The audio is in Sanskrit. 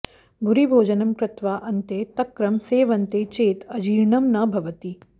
भूरिभोजनं कृत्वा अन्ते तक्रं सेवन्ते चेत् अजीर्णं न भवति